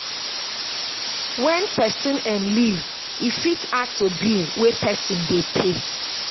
when person um leave e fit add to bill wey person dey pay